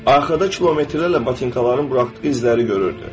Arxada kilometrlərlə batinkaların buraxdığı izləri görürdü.